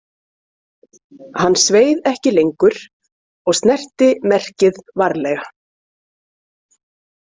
Hann sveið ekki lengur og snerti merkið varlega.